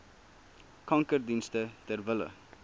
kankerdienste ter wille